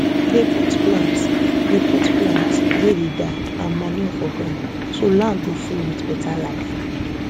dey put plants dey put plants wey dey die and manure for ground so land go full with beta life